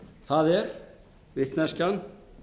það er vitneskjan